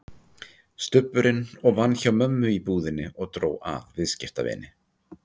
Stubburinn og vann hjá mömmu í búðinni og dró að viðskiptavini.